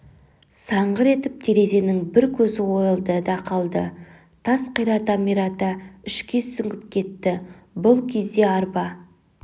саңғыр етіп терезенің бір көзі ойылды да қалды тас қирата-мирата ішке сүңгіп кетті бұл кезде арба